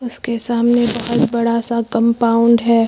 उसके सामने बहुत बड़ा सा कंपाउंड है।